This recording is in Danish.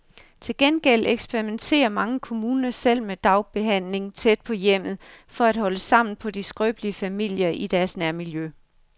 Til gengæld eksperimenterer mange kommuner selv med dagbehandling tæt på hjemmet, for at holde sammen på de skrøbelige familier i deres nærmiljø.